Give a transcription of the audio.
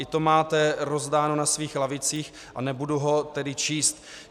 I to máte rozdáno na svých lavicích, a nebudu ho tedy číst.